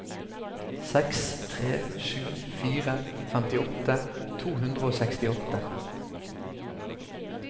seks tre sju fire femtiåtte to hundre og sekstiåtte